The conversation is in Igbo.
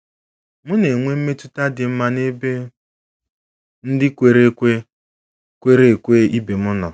M̀ na-enwe mmetụta dị mma n'ebe ndị kwere ekwe kwere ekwe ibe m nọ?